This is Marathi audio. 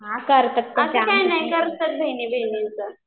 असं काही नाही करतात बहिणी बहिणींचं